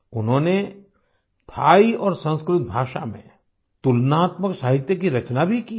उन्होंने थाई और संस्कृत भाषा में तुलनात्मक साहित्य की रचना भी की है